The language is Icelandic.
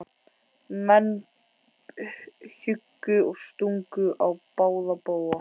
Menn hjuggu og stungu á báða bóga.